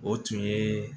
O tun ye